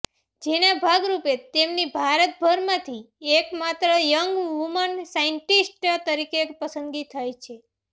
જેના ભાગરૂપે તેમની ભારતભરમાંથી એક માત્ર યંગ વુમન સાયન્ટીસ્ટ તરીકે પસંદગી થઇ છે